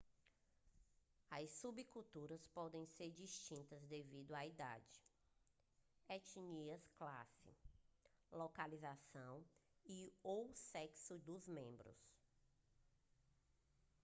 as subculturas podem ser distintas devido à idade etnia classe localização e/ou sexo dos membros